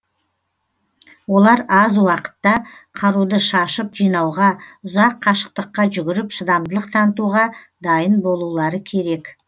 олар аз уақытта қаруды шашып жинауға ұзақ қашықтыққа жүгіріп шыдамдылық танытуға дайын болулары керек